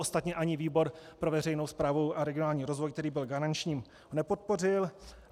Ostatně ani výbor pro veřejnou správu a regionální rozvoj, který byl garančním, nepodpořil.